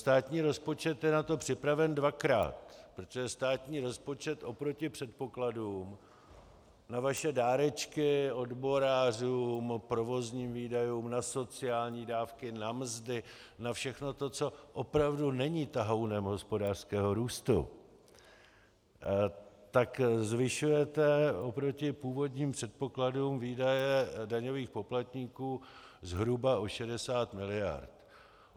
Státní rozpočet je na to připraven dvakrát, protože státní rozpočet oproti předpokladům na vaše dárečky odborářům, provozním výdajům, na sociální dávky, na mzdy, na všechno to, co opravdu není tahounem hospodářského růstu, tak zvyšujete oproti původním předpokladům výdaje daňových poplatníků zhruba o 60 mld.